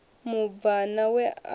mubvana we a ri u